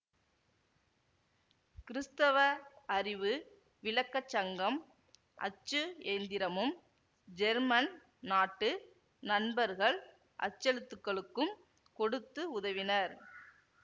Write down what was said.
கிறிஸ்தவ அறிவு விளக்க சங்கம் அச்சு எந்திரமும் ஜெர்மன் நாட்டு நண்பர்கள் அச்செழுத்துக்களுக்கும் கொடுத்து உதவினர்